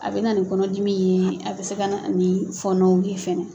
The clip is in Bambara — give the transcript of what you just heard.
A bɛ na ni kɔnɔdimi ye a bɛ se ka ni fɔnɔw ye.